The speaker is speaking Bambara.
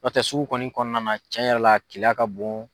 N'o tɛ sugu kɔni kɔnɔna na cɛn yɛrɛ la a keleya ka bon.